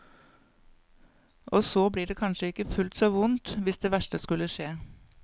Og så blir det kanskje ikke fullt så vondt hvis det verste skulle skje.